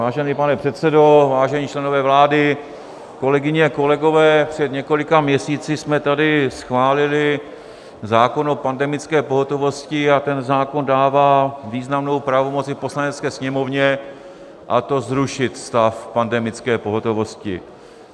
Vážený pane předsedo, vážení členové vlády, kolegyně, kolegové, před několika měsíci jsme tady schválili zákon o pandemické pohotovosti a ten zákon dává významnou pravomoc i Poslanecké sněmovně, a to zrušit stav pandemické pohotovosti.